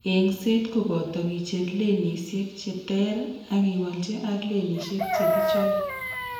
Eng'seet koboto kicher lenisiek chetere ak kewalchi ak lenisiek chekichobe